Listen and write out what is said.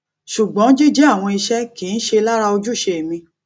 ṣùgbọn jíjẹ àwọn iṣẹ kì í ṣe lára ojúṣe mi